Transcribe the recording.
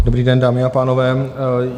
Dobrý den, dámy a pánové.